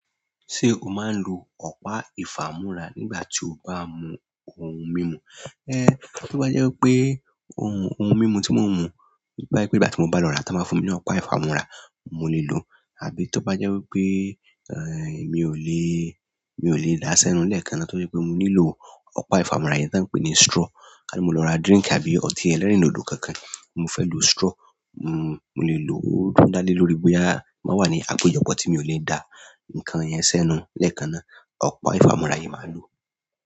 Ṣé o máa ń lo ọ̀pá ìfàmúra nígbà tí o bá mu ohun mímu? Tó bá jẹ́ pé, ohun mímu tí mò ń mu, tó bá jẹ́ pé ìgbà tí mo bá lọ rà tón bá fún mi ní ọ̀pá ìfámúra, mo lè lò ó. Àbí tó bá jẹ́ wí pé, mi ò le, mi ò lè dá sẹ́nu lẹ́ẹ̀kan náà torí pé mo nílò ọ̀pá ìfàmóra yen tí wọ́n ń pè ní straw. Ká ní mo lọ ra drink tàbí ọtí ẹlẹ́rìndòdò kankan, mo fẹ́ lo straw, mo lè lò ó tún dálé lórí bóyá mobá wà ní àpéjopọ̀ tí mi ò le da ǹkan yẹn sẹ́nu lẹ́ẹ̀kan náà. Ọ̀pá ìfàmóra yen ni màá lò.